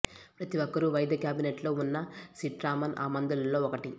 ప్రతి ఒక్కరూ వైద్య కేబినెట్లో ఉన్న సిట్రామన్ ఆ మందులలో ఒకటి